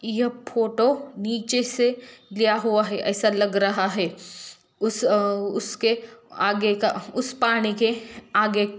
यह फोटो नीचे से लीया हुआ है ऐसा लग रहा हैं उसे उसके आगे का उसे पानी के आगे--